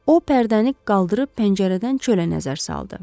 O pərdəni qaldırıb pəncərədən çölə nəzər saldı.